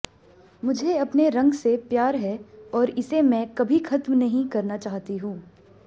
मुझे अपने रंग से प्यार है और इसे मैं कभी खत्म नहीं करना चाहती हूं